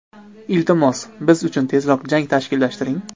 Iltimos, biz uchun tezroq jang tashkillashtiring.